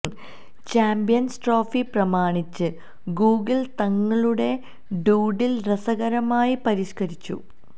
champions trophy പ്രമാണിച്ച് Google തങ്ങളുടെ doodle രസകരമായി പരിഷ്കരിച്ചു